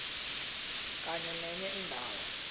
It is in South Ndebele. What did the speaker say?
kenye nenye indawo